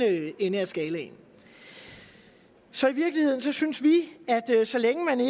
ende af skalaen så i virkeligheden synes vi at så længe man